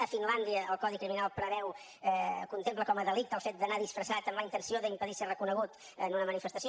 a finlàndia el codi criminal preveu contempla com a delicte el fet d’anar disfressat amb la intenció d’impedir ser reconegut en una manifestació